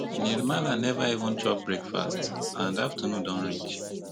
nirmala neva even chop breakfast and afternoon don reach